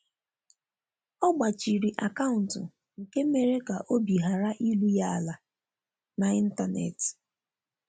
ọ gbachiri akauntu nke mere ka obi hara ìru ya ala na intanetị